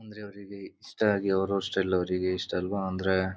ಅಂದ್ರೆ ಅವ್ರಿಗೆ ಇಷ್ಟ ಇದಿಯೋ ಅವರವ ಸ್ಟೈಲ್ ಅವರವರಿಗೆ ಇಷ್ಟ ಅಲ್ವಾ ಅಂದ್ರೆ--